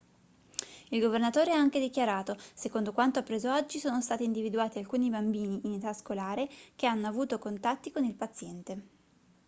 il governatore ha anche dichiarato secondo quanto appreso oggi sono stati individuati alcuni bambini in età scolare che hanno avuto contatti con il paziente